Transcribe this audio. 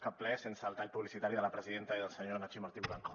cap ple sense el tall publicitari de la presidenta i del senyor nacho martín blanco